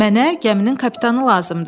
Mənə gəminin kapitanı lazımdır.